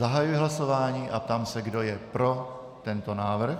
Zahajuji hlasování a ptám se, kdo je pro tento návrh.